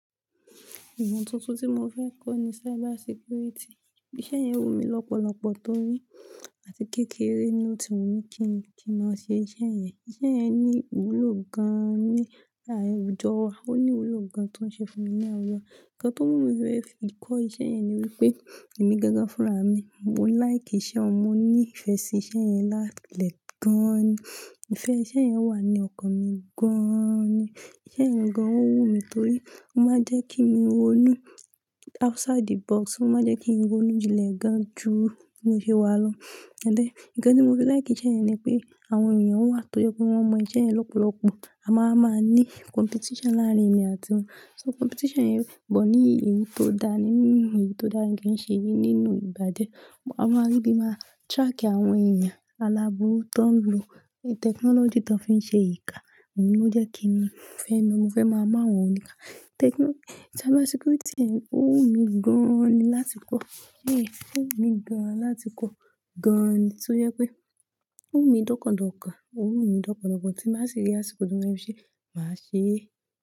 Ìmọ̀ tuntun tí mo fẹ́ kọ́ ni cybersecurity. Iṣẹ́ yẹn wù mí lọ́pọ̀lọpọ̀ torí a ti kékeré ni ó ti wù mí kí n máa ṣe iṣẹ́ yẹn. Iṣẹ́ yẹn ní ìwúlò gan-an ní láàrín àwùjọ wa. Ó ní ìwúlò gan tí ọ́ n ṣe fún mi ní àwùjọ. Ǹkan tó mú mi fẹ́ fi kọ́ iṣẹ́ yẹn ni wípé èmi gangan fún ra mi, mo like iṣẹ́ ọhun, mo ní ìfẹ́ sí iṣẹ́ yẹn lati ile gan-an ni. Ìfẹ́ iṣẹ́ yẹn wà ní ọkàn mi gan-an ni. Iṣẹ́ yẹn gan-an ó wù mí torí ó máa ń jẹ́ kí mi ronú outside the box. Ó máa ń jẹ́ kí n ronú jinlẹ̀ gan-an jù bi mo ṣe wà lọ. Then, ǹkan tí mo fẹ́ like ìṣe yẹn ni pé àwọn èèyàn wà tó jẹ́ pé wọ́n mọ iṣẹ́ yẹn lọ́pọ̀lọpọ̀, a máa máa ní competition láàrin èmi àti wọn. So competition yẹn pọ̀ ní èyí tó da ní mímú èyí tó dára kí ń ṣe nínú ibaje. A máa rí ibí a máa track àwọn èèyàn aláburu tó ń lo technology tó fi ń ṣe ìka, ohun tó jẹ́ kí n fẹ́, mo fẹ́ máa mọ àwọn òníka. Technology-- cyber security yẹn ó wù mí gan-an ni láti kọ́. Yé, ó wùn mí gan-an láti kọ́? Gan-an toje pé ó wùn mí dọ́kàn dọ́kàn, ó wùn mí lọ́pọ̀lọ́pọ̀ tí n ba ṣi rí ásìkò ti mo fe fi ṣee, màá ṣeé.